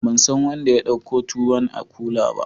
Ban san wanda ya dauka tuwon a kula ba?